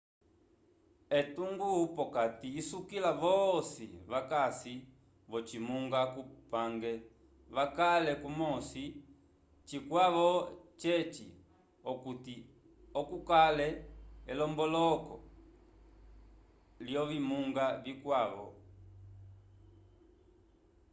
etungo p'okati isukila vosi vakasi v'ocimunga cupange vakale kumosi cikwavo ceci okuti oco kukale elomboloko l'ovimunga vikwavo